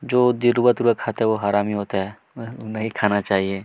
जो दिलवा तूरा खाता है वो हरामी होता है नइ खाना चाहिए --